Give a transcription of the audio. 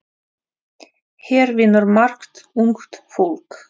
Hér vinnur margt ungt fólk.